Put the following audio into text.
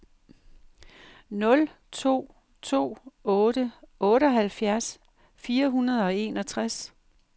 nul to to otte otteoghalvfjerds fire hundrede og enogtres